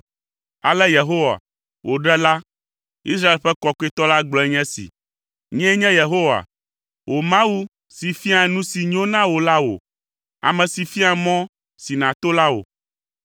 Ale Yehowa, wò Ɖela, Israel ƒe Kɔkɔetɔ la gblɔe nye esi, “Nyee nye Yehowa, wò Mawu, si fiaa nu si nyo na wò la wò, ame si fiaa mɔ si nàto la wò.